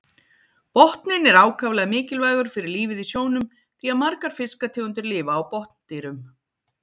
Botninn er ákaflega mikilvægur fyrir lífið í sjónum því að margar fiskategundir lifa á botndýrum.